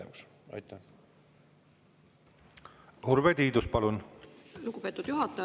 Lugupeetud juhataja!